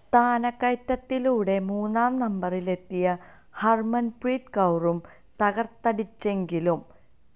സ്ഥാനക്കയറ്റത്തിലൂടെ മൂന്നാം നമ്പരിലെത്തിയ ഹർമൻപ്രീത് കൌറും തകർത്തടിച്ചെങ്കിലും